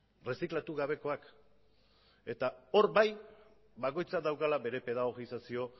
erreziklatu gabekoak eta hor bai bakoitzak daukala bere pedagogizazio